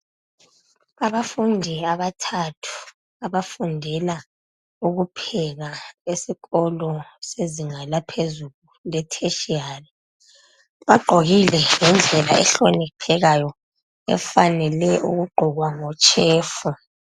Abafundi abathathu abafundela ukupheka esikolo sezinga laphezulu le tertiary bagqokile ngendlela ehloniphekayo efanele ukugqokwa ngo chef.